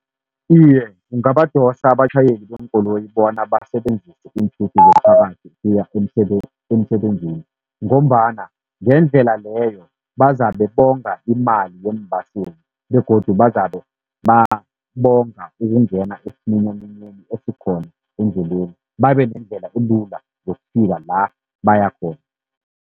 Iye, kungabadosa abatjhayeli beenkoloyi bona basebenzise iinthuthi zomphakathi ukuya emsebenzini, ngombana ngendlela leyo bazabe bonga imali yeembaseli begodu bazabe bonga ukungena esiminyaminyeni esikhona endleleni. Babe nendlela elula yokufika la bayakhona.